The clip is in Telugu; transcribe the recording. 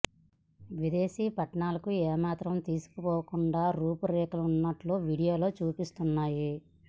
విదేశీ పట్టణాలకు ఎ మాత్రం తీసిపోకుండా రూపు రేఖలు వున్నట్టు వీడియో లలో చూపిస్తున్నారు